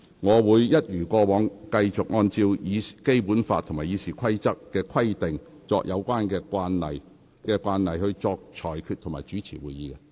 我會一如以往，繼續按照《基本法》和《議事規則》的規定以及有關慣例，去主持立法會會議及作出裁決。